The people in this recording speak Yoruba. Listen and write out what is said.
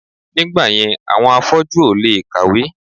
Nígbàyẹn àwọn afọ́jú ò lè kàwé